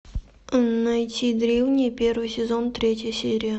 найти древние первый сезон третья серия